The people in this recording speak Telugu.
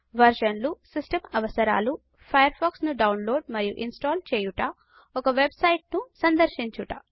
వర్షన్లు సిస్టమ్ అవసరాలు ఫయర్ ఫాక్స్ ను డౌన్లోడ్ మరియు ఇన్స్టాల్ చేయుట ఒక వెబ్సైట్ను సందర్శించుట